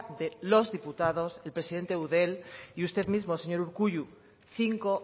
de los diputados el presidente de eudel y usted mismo señor urkullu cinco